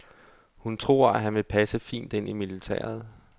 Hun tror, at han vil passe fint ind i militæret.